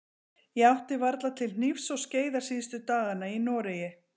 Ég átti varla til hnífs og skeiðar síðustu dagana í Noregi.